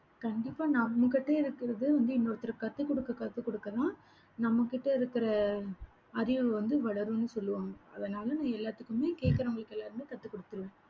கண்டிப்பா, நம்ம கிட்ட இருக்கிறது வந்து இன்னொருத்தருக்கு கத்துக்குடுக்க, கத்துக்குடுக்கதான் நம்மகிட்ட இருக்கிற அறிவு வந்து வளரும்னு சொல்லுவாங்க. அதனால நான் எல்லாத்துக்குமே கேட்கிறவங்களுக்கு எல்லாருமே கத்துக் குடுத்திருவேன்.